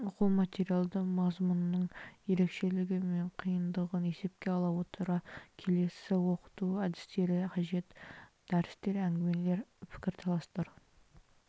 оқу материалы мазмұнының ерекшелігі мен қиындығын есепке ала отыра келесі оқыту әдістері қажет дәрістер әңгімелер пікірталастар